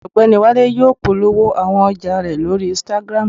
Ọgbẹni Wale yóò polowo awọn ọja rẹ lori Instagram